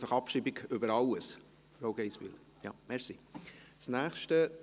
Einfach Abstimmung über alles, Frau Geissbühler?